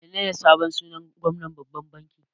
Menene sunan sabon gwamnan babban banki?